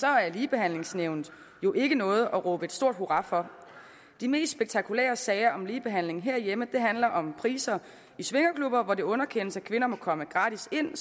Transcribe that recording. er ligebehandlingsnævnet jo ikke noget at råbe et stort hurra for de mest spektakulære sager om ligebehandling herhjemme handler om priser i swingerklubber hvor det underkendes at kvinder må komme gratis ind